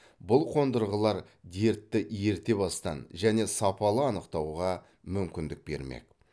бұл қондырғылар дертті ерте бастан және сапалы анықтауға мүмкіндік бермек